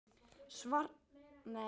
Svartur fylgir eftir með.